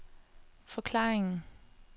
forklaringen